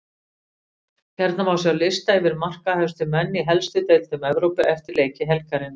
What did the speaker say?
Hérna má sjá lista yfir markahæstu menn í helstu deildum Evrópu eftir leiki helgarinnar: